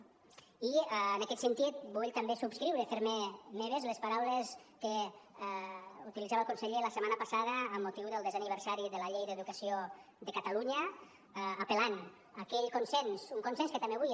i en aquest sentit vull també subscriure fer me meves les paraules que utilitzava el conseller la setmana passada amb motiu del desè aniversari de la llei d’educació de catalunya apel·lant a aquell consens un consens que també avui